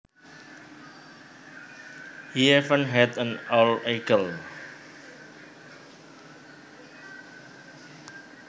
He even had an old eagle